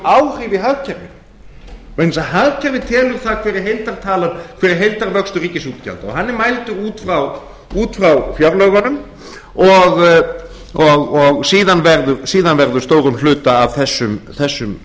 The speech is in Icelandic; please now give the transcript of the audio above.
áhrif í hagkerfinu vegna þess að hagkerfið telur það hver er heildartalan hver er heildarvöxt ríkisútgjalda og hann er mældur út frá fjárlögunum og síðan verður stórum hluta af þessum